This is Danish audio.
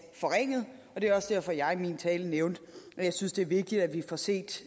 forringet og det var også derfor jeg i min tale nævnte at jeg synes det er vigtigt at vi får set